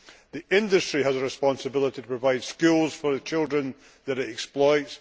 The industry has a responsibility to provide schools for the children that it exploits.